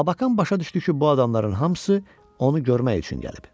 Labakan başa düşdü ki, bu adamların hamısı onu görmək üçün gəlib.